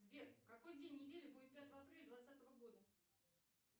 сбер какой день недели будет пятого апреля двадцатого года